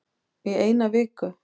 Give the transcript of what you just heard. Í eina viku